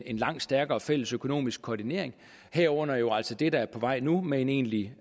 en langt stærkere fælles økonomisk koordinering herunder jo altså det der er på vej nu med en egentlig